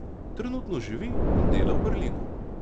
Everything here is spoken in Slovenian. Trenutno živi in dela v Berlinu.